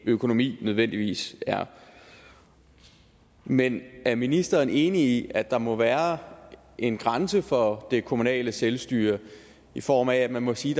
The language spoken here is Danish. økonomi nødvendigvis er men er ministeren enig i at der må være en grænse for det kommunale selvstyre i form af at man må sige